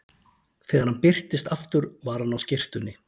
Þegar hann birtist aftur var hann á skyrtunni.